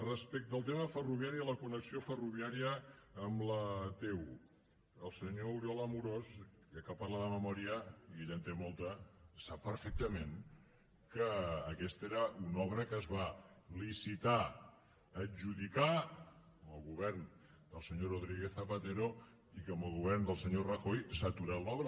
respecte al tema ferroviari i a la connexió ferroviària amb la t un el senyor oriol amorós ja que parla de memòria i ell en té molta sap perfectament que aquesta era una obra que es va licitar adjudicar amb el govern del senyor rodríguez zapatero i que amb el govern del senyor rajoy s’ha aturat l’obra